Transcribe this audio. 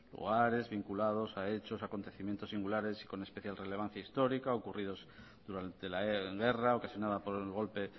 hogares vinculados a hechos acontecimientos singulares con especial relevancia histórica ocurridos durante la guerra ocasionada por el golpe